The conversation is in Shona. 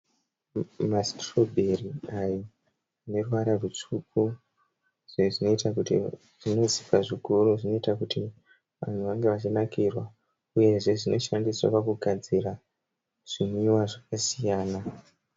Masitirobheri ayo aneruvara rutsvuku izvi zvinoita kuti zvinozipa zvikuru zvinoita kuti vanhu vange vachinakirwa. Uyezve zvinoshandiswa pakugadzira zvinwiwa zvakasiyana.